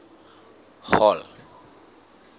hall